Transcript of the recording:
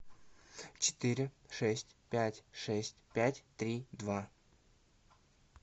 четыре шесть пять шесть пять три два